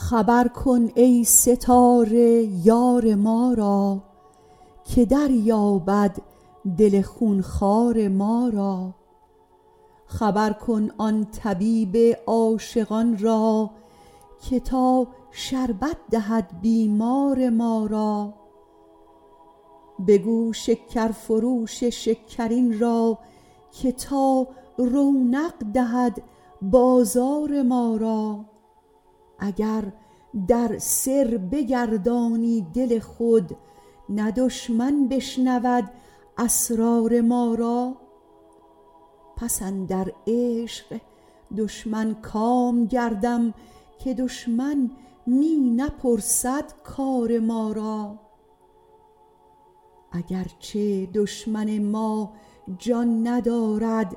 خبر کن ای ستاره یار ما را که دریابد دل خون خوار ما را خبر کن آن طبیب عاشقان را که تا شربت دهد بیمار ما را بگو شکرفروش شکرین را که تا رونق دهد بازار ما را اگر در سر بگردانی دل خود نه دشمن بشنود اسرار ما را پس اندر عشق دشمن کام گردم که دشمن می نپرسد کار ما را اگر چه دشمن ما جان ندارد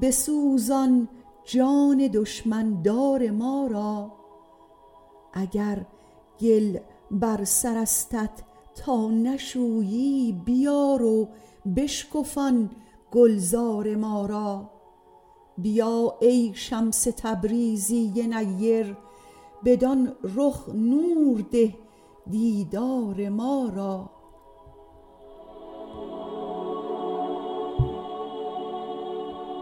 بسوزان جان دشمن دار ما را اگر گل بر سرستت تا نشویی بیار و بشکفان گلزار ما را بیا ای شمس تبریزی نیر بدان رخ نور ده دیدار ما را